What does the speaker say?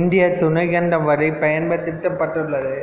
இந்தியத் துணைக்கண்டம் வரை பயன்படுத்தப்பட்டுள்ளது